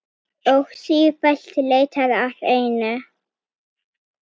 Og sífellt leitar að einum.